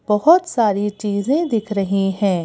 बहुत सारी चीजें दिख रही हैं।